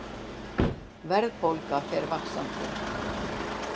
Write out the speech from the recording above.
Verðbólga fer vaxandi